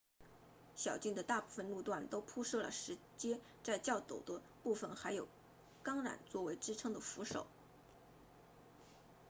小径的大部分路段都铺设了石阶在较陡的部分还有钢缆作为支撑的扶手